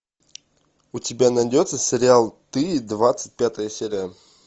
у тебя найдется сериал ты двадцать пятая серия